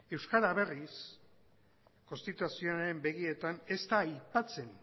euskara berriz konstituzioaren begietan ez da aipatzen